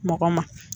Mɔgɔ ma